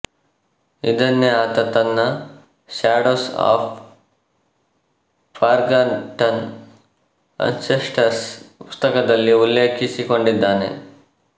ಇದನ್ನೇ ಆತ ತನ್ನ ಶ್ಯಾಡೋಸ್ ಆಫ್ ಫಾರ್ಗಾಟನ್ ಅನ್ಸೆಸ್ಟರ್ಸ್ ಪುಸ್ತಕದಲ್ಲಿ ಉಲ್ಲೇಖಿಸಿಕೊಂಡಿದ್ದಾನೆ